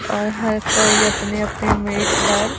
और हर कोई अपने अपने मेट पर--